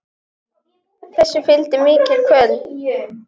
Þessu fylgdi mikil kvöl.